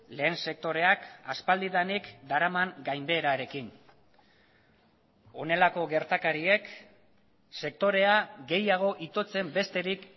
lehen sektoreak aspaldidanik daraman gainbeherarekin honelako gertakariek sektorea gehiago itotzen besterik